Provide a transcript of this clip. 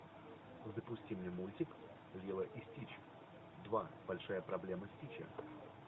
запусти мне мультик лило и стич два большая проблема стича